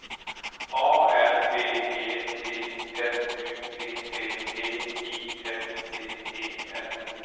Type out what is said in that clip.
A R B E T S U P P G I F T E R